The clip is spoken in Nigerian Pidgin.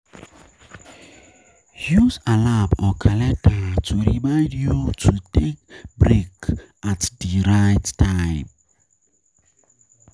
Use alarm or calender to remind you to take break at di right time